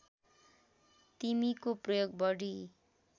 तिमीको प्रयोग बढी